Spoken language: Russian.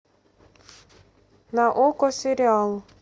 на окко сериал